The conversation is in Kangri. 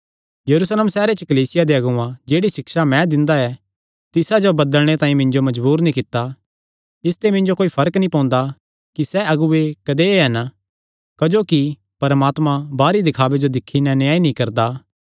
यरूशलेम सैहरे च कलीसिया दे अगुआं जेह्ड़ी सिक्षा मैं दिंदा ऐ तिसा जो बदलणे तांई मिन्जो मजबूर नीं कित्ता इसते मिन्जो कोई फर्क नीं पोंदा कि सैह़ अगुऐ कदेय हन क्जोकि परमात्मा बाहरी दखावे जो दिक्खी नैं न्याय नीं करदा